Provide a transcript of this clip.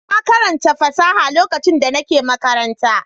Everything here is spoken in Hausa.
Na karanta fasaha lokacin da nake makaranta.